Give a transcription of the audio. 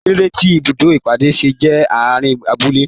Kilode tí ibùdó ìpàdé ṣe jẹ àárín abúlé?